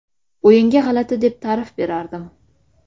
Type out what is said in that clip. O‘yinga g‘alati deb ta’rif berardim.